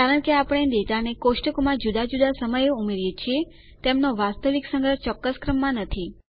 કારણ કે આપણે ડેટાને કોષ્ટકોમાં જુદા જુદા સમયે ઉમેરીએ છીએ તેમનો વાસ્તવિક સંગ્રહ ચોક્કસ ક્રમમાં નથી